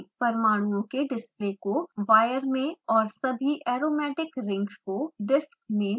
परमाणुओं के डिस्प्ले को wire में और सभी aromatic rings को disks में बदलें